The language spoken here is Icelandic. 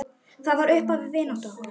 Það var upphaf vináttu okkar.